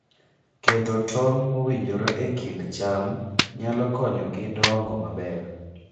Keto tong' mowinjore e kind cham nyalo konyogi dongo maber.